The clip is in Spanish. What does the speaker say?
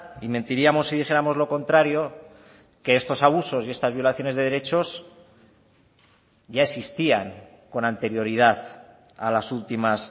y mentiríamos si dijéramos lo contrario que estos abusos y estas violaciones de derechos ya existían con anterioridad a las últimas